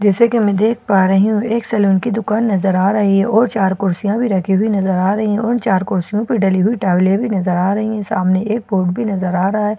जैसा की मैं देख पा रही हूँ एक सैलून की दुकान नज़र आ रही है और चार कुर्सियां भी रखी हुई नज़र आ रही है उन चार कुर्सियों पे डली हुई टॉवले भी नज़र आ रही है सामने एक बोर्ड भी नज़र आ रहा है।